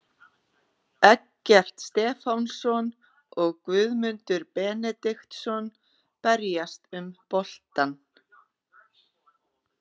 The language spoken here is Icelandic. Eggert Stefánsson og Guðmundur Benediktsson berjast um boltann.